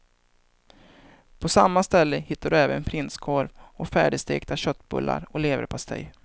På samma ställe hittar du även prinskorv och färdigstekta köttbullar och leverpastej.